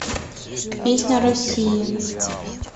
песня россии